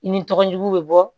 I ni tɔgɔ jugu bɛ bɔ